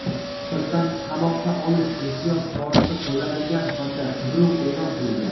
sirtdan "qamoqqa olish" ehtiyot chorasi qo‘llanilgan hamda qidiruv e’lon qilingan.